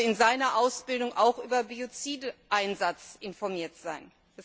Er muss also in seiner Ausbildung auch über Biozideinsatz informiert sein.